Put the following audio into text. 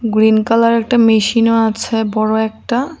Green কালারের একটি মেশিনও আছে বড় একটা।